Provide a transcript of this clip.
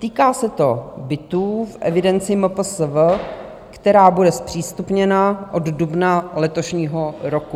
Týká se to bytů v evidenci MPSV, která bude zpřístupněna od dubna letošního roku.